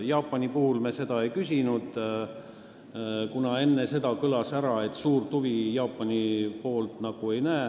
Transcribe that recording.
Jaapani puhul me seda ei küsinud, kuna enne seda kõlas, et suurt huvi Jaapani poolt näha ei ole.